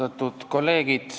Austatud kolleegid!